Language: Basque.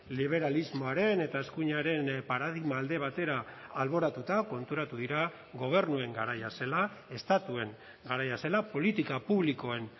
liberalismoaren eta eskuinaren paradigma alde batera alboratuta konturatu dira gobernuen garaia zela estatuen garaia zela politika publikoen